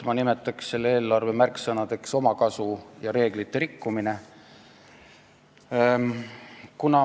Ma pakun selle eelarve märksõnadeks "omakasu" ja "reeglite rikkumine".